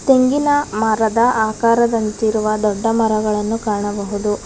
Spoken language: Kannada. ತೆಂಗಿನ ಮರದ ಆಕಾರದಂತಿರುವ ದೊಡ್ಡ ಮರಗಳನ್ನು ಕಾಣಬಹುದು.